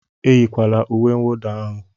Eyikwala uwe nwụda ahụ!